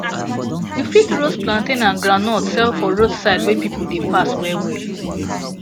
you fit roast plantain and groundnut sell for roadside wey people dey pass wellwell